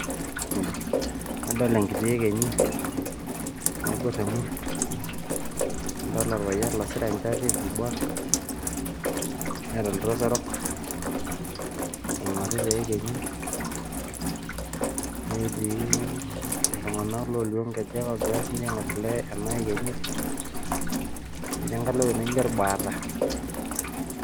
Adol enkiti ekenyi, naiborr emurt, nadolita olpayian losira enchati eiborr, neata oltrosa orok, oing'orita eekenyi, netii iltung'anak olio nkejek ogira siinche aing'orr ele ena ekenyi, ijo doi enkalo ewuei naijo olbaata.